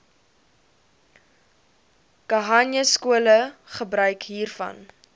khanyaskole gebruik hiervan